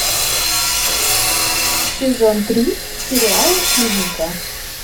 сезон три сериала клиника